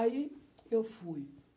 Aí eu fui.